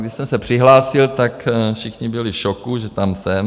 Když jsem se přihlásil, tak všichni byli v šoku, že tam jsem.